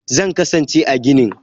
Zan kasance a ginin.